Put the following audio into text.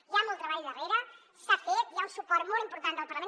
hi ha molt treball darrere s’ha fet hi ha un suport molt important del parlament